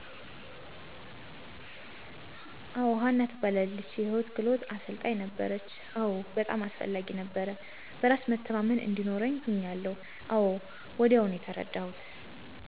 አወ. ሀና ትባላለች የህይወት ክህሉት አሰልጣኝ ነበረች፣ አወ በጣም አስፈላጊ ነበረ። በራስ መተማመን እዲኖርኛ ሁኛለሁ አወ ወዲያው ነው የተርዳሁት።